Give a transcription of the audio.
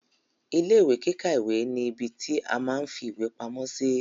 Ilé ìwé kíkà ìwé ni ìbí ti a máa n fí ìwé pamọ́ sí.